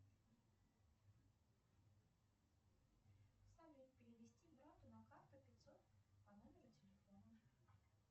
салют перевести брату на карту пятьсот по номеру телефона